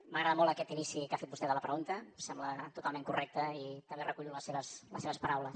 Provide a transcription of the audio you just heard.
m’agrada molt aquest inici que ha fet vostè de la pregunta em sembla totalment correcte i també recullo les seves paraules